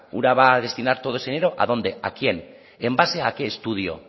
ura va a destinar todo ese dinero a dónde a quién en base a qué estudio